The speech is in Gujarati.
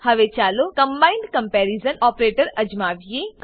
હવે ચાલો કમ્બાઇન્ડ કંપેરીઝન ઓપરેટર અજમાવીએ